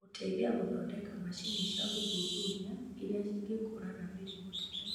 Gũteithia gũthondeka macini cia gũthuthuria iria cingekũũrana mĩrimũ tene.